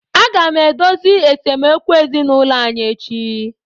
Aga m edozi esemokwu ezinụlọ anyị echi.